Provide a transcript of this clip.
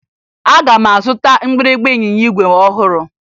Aga m azụta mgbịrịmgba ịnyịnya igwe ọhụrụ